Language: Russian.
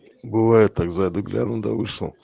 бывает так зайду гляну да вышел